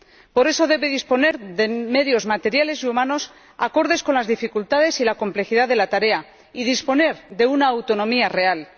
Por eso debe disponer de medios materiales y humanos acordes con las dificultades y la complejidad de la tarea, y disponer de una autonomía real.